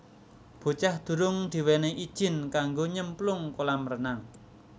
Bocah durung diwenehi ijin kanggo nyemplung kolam renang